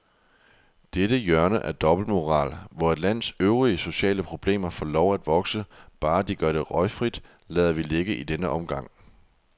Dette hjørne af dobbeltmoral, hvor et lands øvrige sociale problemer får lov at vokse, bare de gør det røgfrit, lader vi ligge i denne omgang.